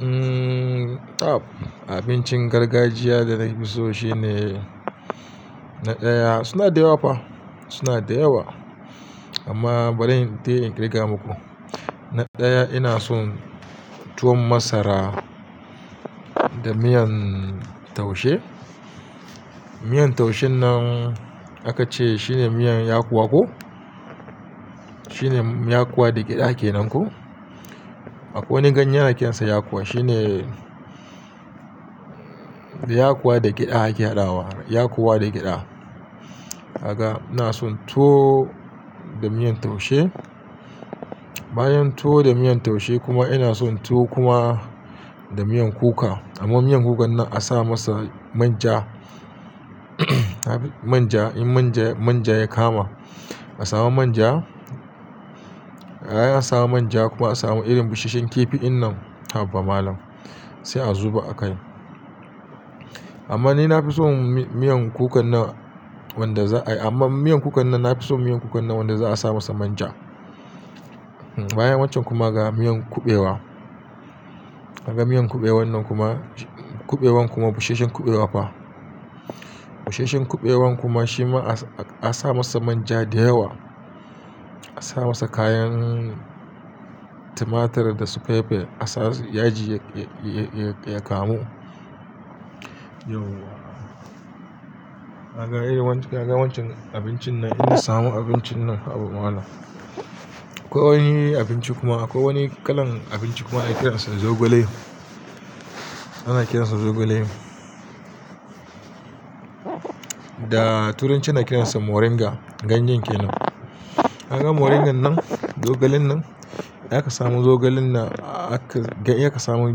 Umm, tab. Abincin gargajiya da na fi so shine na ɗaya, suna da yawa fa, suna da yawa. Amma bari in taya in kaya muku. Na ɗaya ina son tuwon masara da miyan taushe. Miyan taushen nan aka ce shine miyan yakuwa ko? Shi ne yakuwa da gyaɗa ke nan ko? Akwai wani ganye ana kiransa yakuwa. Shi ne yakuwa da gyaɗa ake hadawa. Yakuwa da gyaɗa. Kaga ina son tuwo da miyan taushe. Bayan tuwo da miyan taushe kuma ina son tuwo kuma da miyan kuka. Amma miyan kukan nan a sa masa manja. Manja, in manja, manja ya kama. A samu manja. Ai a samu manja kuma a samu irin busashshen kifi in nan, haba malam. Sai a zuba a kai. Amma ni na fi son miyan kukan nan wanda za a yi, amma miyan kukan nan na fi so miyan kukan nan wanda za a sa masa manja. Sai a zuba a kai. Amma ni na fi son miyan kukan nan wanda za a yi, amma miyan kukan nan na fi so miyan kukan nan wanda za a sa masa manja. Hmm, bayan wancan kuma ga miyan kuɓewa. Kaga miyan kuɓewan nan kuma, kuɓewan kuma busasshen kuɓewa fa. Busashshen kuɓewan kuma shi ma a sa masa manja da yawa. A sa masa kayan tumatur da su pepe, a sa yaji ya, ya, ya kamu. Akwai wani abinci kuma, akwai wani kalan abinci kuma ana kiransa zogale. Ana kiransa zogale. Yauwa. Haka wancan abincin nan ina samu abincin nan haba malam. Da turancin ana kiransa moringa. Ganyen ke nan wato miyan ganye zaifi daɗi sosai. Haka moringan nan, zogalen nan, ya kamamu zogalen nan, aka, ya kamamu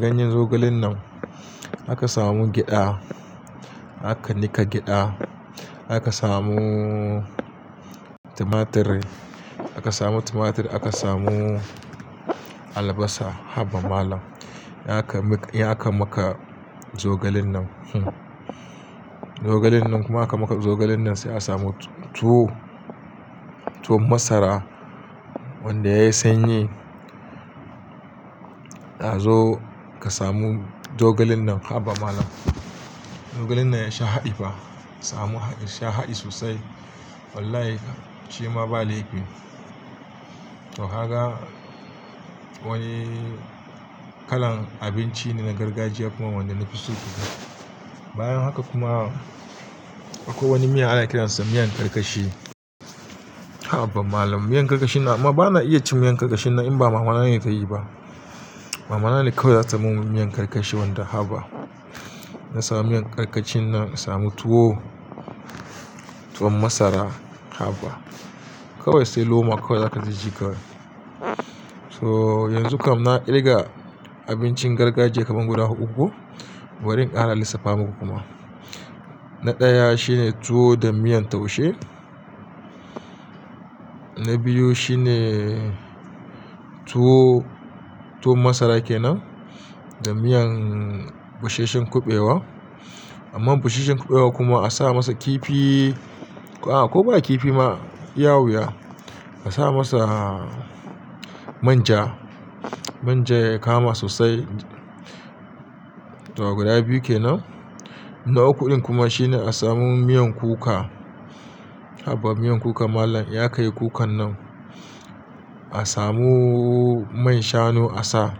ganyen zogalen nan aka samu gyaɗa. Ai a samu manja kuma a samu irin busashshen kifi in nan, haba malam. Sai a zuba a kai. Amma ni na fi so miyan kukan nan wanda za a yi, amma miyan kukan nan na fi so miyan kukan nan wanda za a sa masa manja. Hmm, bayan wancan kuma ga miyan kuɓewa ɗanye haba malam ai tafi shiga. Haka miyan kuɓewan nan kuma, kuɓewan kuma busasshen kuɓewa fa. Zogalen nan ya sha haɗi fa. Busasshen kuɓewan kuma shi ma a sa masa manja da yawa. A sa masa kayan tumatur da supepe, a sa yaji ya, ya, ya kamu. Yauwa. Haka wancan abincin nan inna samu abincin nan haba malam. Bayan haka kuma akwai wani miya ana kiransa miyan karkashi. Da turancin ana kiransa moringa. Wato minyan zogale kenan da hausa ganyen ke nan. Miyan yaji ɠyada haka moringan nan, zogalen nan, ya kamamu zogalen nan, aka, ya kamamu ganyen zogalen nan aka samu gyaɗa. Aka nika gyaɗa. Idan aka samu wacce taniya miyan habawa aka samu tumatur. Danta aka markaɗensai tabada abunda ake so aka samu tumatur aka samu albasa haba malam. Ai kanaci kana jin daɗi wallahi. Ya kamika, ya kamaka zogalen nan, hmm. Zogalen nan kuma aka maka zogalen nan sai a samu tuwo, tuwon masara wanda ya yi sanyi. A sa masa manja. Manja ya kama sosai. To guda biyu kenan. Na uku ɗin kuma shine a samu miyan kuka. Hazo ka samu zogalen nan haba malam. Samu haɗi, zaka sha haɗi sosai. A samu man shanu a sa.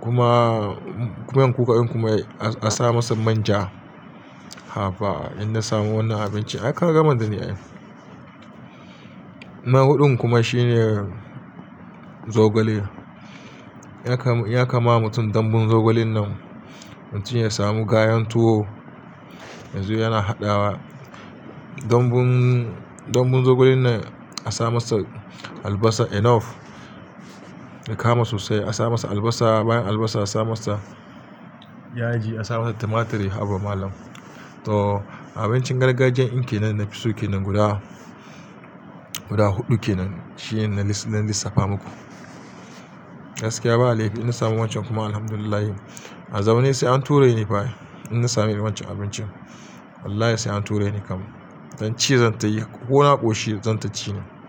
Wallahi shima ba laifi ne. A sa masa manja. To haka wani kalan abinci na gargajiya kuma wanda na fi so ke nan. Ya kama, ya kama mutum dambun zogalen nan. Haba malam. Miyan karkashi nan amma bana iya cin miyan karkashin nan in ba mama nane tayi ba. Dambun, dambun zogalen nan a sa masa albasa enough. Ya kama sosai. Mama nan ne kawai zata mun miyan karkashi wanda haba. Ina samu miyan karkashi nan, samu tuwo, tuwon masara haba. Kokuma tuwon shinkafa kawai sai loma kawai zaka ci jiƙai. So yanzu kam na kirga abincin gargajiya kaman guda huɗu ko. Bari in ƙara lissafa muku kuma. Na ɗaya shine tuwo da miyan taushe. Na biyu shine tuwo, tuwon masara kenan da miyan busasshen kuɓewa. Amma busasshen kuɓewa kuma a sa masa kifi. A ko ba kifi ma, ya wadatar.